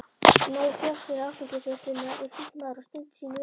Nei, forstjóri áfengisverslunarinnar er fínn maður og stundar sín viðskipti.